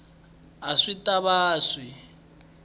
a swi ta va swi